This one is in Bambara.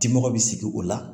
Dimɔgɔ bɛ sigi o la